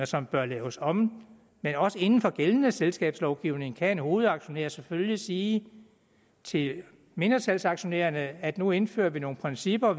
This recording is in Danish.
som bør laves om men også inden for gældende selskabslovgivning kan en hovedaktionær selvfølgelig sige til mindretalsaktionærerne at vi nu indfører nogle principper